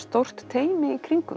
stórt teymi í kring um